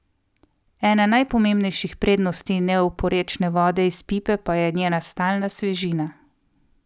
Ena najpomembnejših prednosti neoporečne vode iz pipe pa je njena stalna svežina.